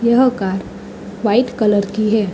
यह car white colour की है।